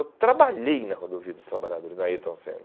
Eu trabalhei na Rodovia dos Trabalhadores, na Ayrton Senna.